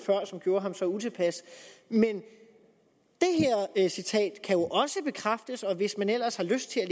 som gjorde ham så utilpas men det her citat kan jo også bekræftes og hvis man ellers har lyst til at